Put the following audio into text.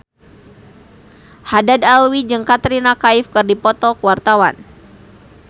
Haddad Alwi jeung Katrina Kaif keur dipoto ku wartawan